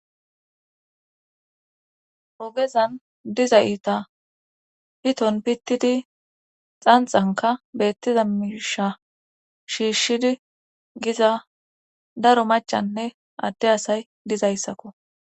ogezan diza iita piton pittidi xanxanka beettiza misha shiishshidi giza daro machanne adde asay dizayssakko